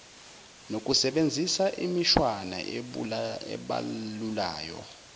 nokusebenzisa imishwana ebalulayo